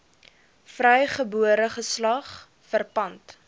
vrygebore geslag verpand